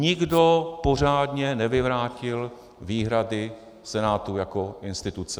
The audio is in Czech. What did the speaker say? Nikdo pořádně nevyvrátil výhrady Senátu jako instituce.